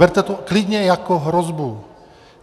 Berte to klidně jako hrozbu.